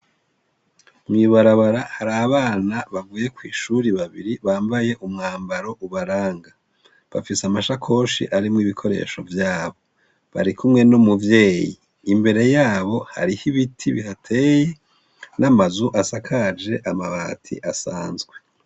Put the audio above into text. Mw'ibarabara har'abana bavuye kw'ishuri babiri bambaye umwambaro ubaranga. Bafise amashakoshi arimwo ibikoresho vyabo. Bari kumwe n'umuvyeyi. Imbere yabo harih'ibiti bihateye n'amazu asakaje amabati asanzwe.